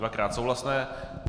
Dvakrát souhlasné.